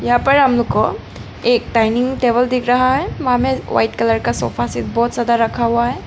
यहा पर हमको एक डाइनिंग टेबल दिख रहा है वहां में व्हाइट कलर का सोफा बहोत ज्यादा रखा हुआ है।